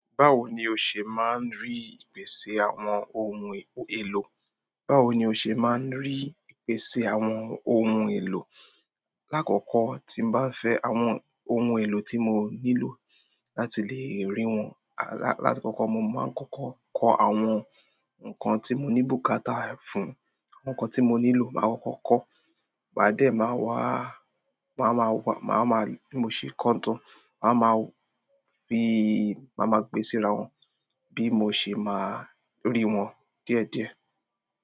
Báwo ni o ṣe máa ń rí ìpèsè àwọn ohun èlò? Báwo ni o ṣe máa ń rí ìpèsè àwọn ohun èlò? Lákókò tí mo bá fẹ mo àwọn ohun èlò tí mo nílò, láti lè ríi wọn, máa kọkọ kọ àwọn ǹkan tí mo ní bùkátà fún máa kọkọ kọ àwọn ǹkan tí mo ní bùkátà fún ǹkan tí mo ní bùkátà fún, ǹkan tí mo nílò má kọ́kọ́ kọ maa dẹ̀, màá wá, màá má wá, màá má bí mo ṣe kọ́ tán, màá má fi, màá má gbé ẹ síra wọ́n bí mo ṣe máa rí wọn díẹ̀díẹ̀.